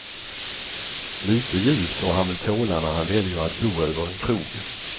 Lite ljud får han väl tåla när han väljer att bo över en krog.